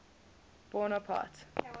bonaparte